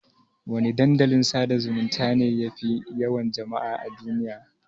Wana Dandalin sada zumunta ne yafi yawan jama'a a duniya?